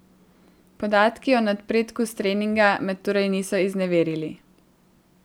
Podatki o napredku s treninga me torej niso izneverili.